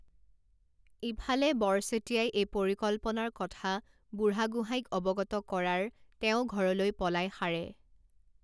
ঈফালে বৰ্চেতিয়াই এই পৰিকল্পনাৰ কথা বুঢ়াগোহাঁইক অৱগত কৰাৰ তেওঁ ঘৰলৈ পলাই সাৰে।